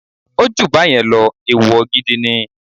Ó jù báyẹn lọ, ẹ̀wọ̀ gidi ni.